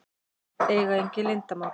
Eiga engin leyndarmál.